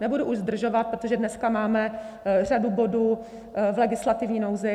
Nebudu už zdržovat, protože dnes máme řadu bodů v legislativní nouzi.